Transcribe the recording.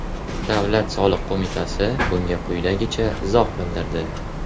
Davlat soliq qo‘mitasi bunga quyidagicha izoh bildirdi.